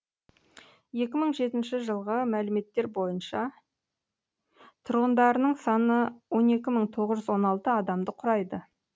екі мың жетінші жылғы мәліметтер бойынша тұрғындарының саны он екі мың тоғыз жүз он алты адамды құрайды